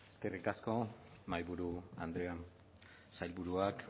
eskerrik asko mahaiburu andreak sailburuak